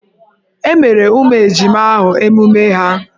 E meere ụmụ ejima ahụ emume ha?